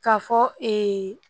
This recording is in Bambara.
K'a fɔ